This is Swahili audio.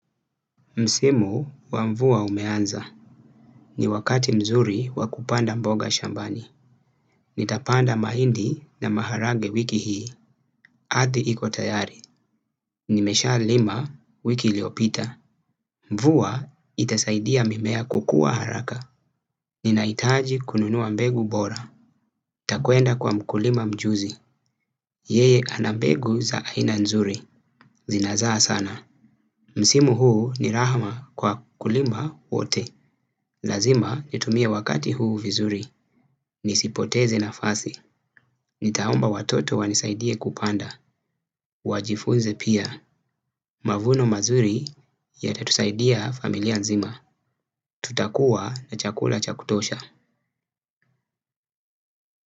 Msimu wa mvua umeanza. Ni wakati mzuri wakupanda mboga shambani. Nitapanda mahindi na maharage wiki hii. Ardhi ikotayari. Nimesha lima wiki iliopita. Mvua itasaidia mimea kukua haraka. Ninahitaji kununua mbegu bora. Nitakwenda kwa mkulima mjuzi. Yeye anambegu za aina nzuri. Zinazaa sana. Msimu huu ni rahama kwa wakulima wote. Lazima nitumie wakati huu vizuri. Nisipoteze na fasi. Nitaomba watoto wanisaidie kupanda. Wajifunze pia. Mavuno mazuri ya tatusaidia familia nzima. Tutakuwa na chakula chakutosha.